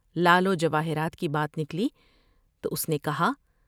لعل و جواہرات کی بات نکلی تو اس نے کہا ۔